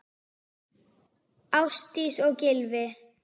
Ásdís og Gylfi.